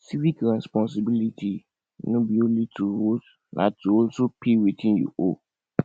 civic responsibility no be only to vote na to also pay wetin you owe